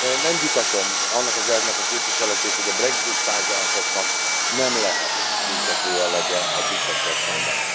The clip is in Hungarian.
Nem vitatom annak az elvnek a képviseletét, hogy a Brexit tárgyalásoknak nem lehet büntető jellege a britekkel szemben.